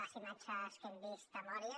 les imatges que hem vist de mòria